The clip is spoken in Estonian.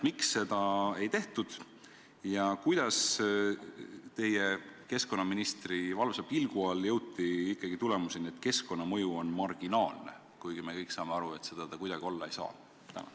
Miks seda ei tehtud ja kuidas teie, keskkonnaministri valvsa pilgu all jõuti ikkagi tulemusele, et keskkonnamõju on marginaalne, kuigi me kõik saame aru, et seda see kuidagi olla ei saa?